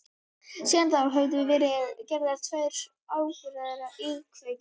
Síðan þá höfðu verið gerðar tvær óburðugar íkveikju